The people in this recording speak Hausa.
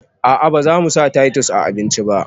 A'a bazamu sa taitus a abinci ba